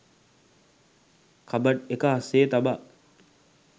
cupboard එක අස්සේ තබා